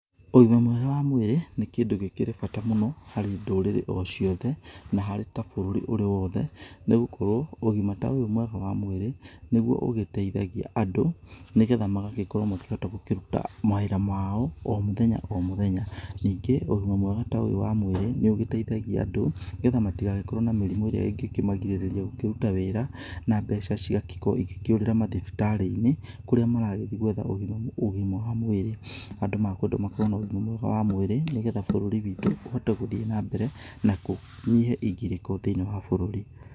Ũgima mwega wa mwĩrĩ nĩ kĩndũ gĩkĩrĩ bata mũno harĩ ndũrĩrĩ o ciothe na harĩ ta bũrũri ũrĩ wothe nĩ gũkorwo ũgima ta ũyũ mwega wa mwĩrĩ nĩguo ũgĩteithagia andũ nĩgetha magagĩkorwo makĩhota gũkĩruta mawĩra mao o mũthenya o mũthenya. Ningĩ ũgima mwega ta ũyũ wa mwĩrĩ nĩ ũgĩteithagia andũ nĩgetha matigagĩkorwo na mĩrimũ ĩrĩa ĩngĩkĩmagirĩrĩria gũkĩruta wĩra, na mbeca ciao ingĩkĩũrĩra mathibitarĩini kũrĩa marathiĩ gwetha ũgima wa mwĩrĩ. Andũ mekwendwo makorwo na ũgima mwega wa mwĩrĩ nĩgetha bũrũri witũ ũhote gũthiĩ nambere na kũnyihe igĩrĩko thĩiniĩ wa bũrũri.